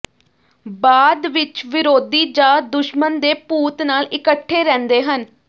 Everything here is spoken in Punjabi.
ਬਾਅਦ ਵਿਚ ਵਿਰੋਧੀ ਜਾਂ ਦੁਸ਼ਮਣ ਦੇ ਭੂਤ ਨਾਲ ਇਕੱਠੇ ਰਹਿੰਦੇ ਹਨ